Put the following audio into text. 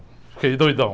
Fiquei doidão.